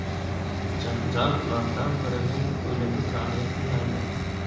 Janjal ulardan birining o‘limi bilan yakunlangan.